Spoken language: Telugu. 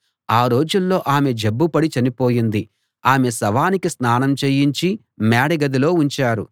ఆ రోజుల్లో ఆమె జబ్బుపడి చనిపోయింది ఆమె శవానికి స్నానం చేయించి మేడ గదిలో ఉంచారు